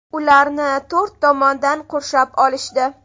Ularni to‘rt tomondan qurshab olishdi.